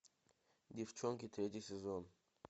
деффчонки третий сезон